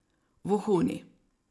Vohuni.